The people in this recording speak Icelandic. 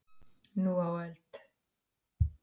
Nú á öld